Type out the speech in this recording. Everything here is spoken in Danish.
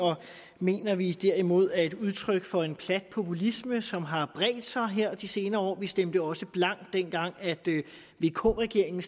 mener vi derimod er et udtryk for en plat populisme som har bredt sig her i de senere år vi stemte også blankt dengang vk regeringen